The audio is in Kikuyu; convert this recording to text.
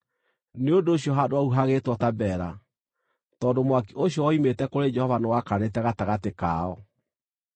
Nĩ ũndũ ũcio handũ hau hagĩĩtwo Tabera, tondũ mwaki ũcio woimĩte kũrĩ Jehova nĩwakanĩte gatagatĩ kao.